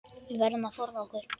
Við verðum að forða okkur.